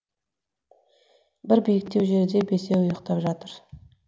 бір биіктеу жерде бесеуі ұйықтап жатыр